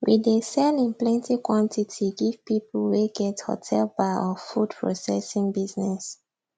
we dey sell in plenty quantity give people wey get hotel bar or food processing business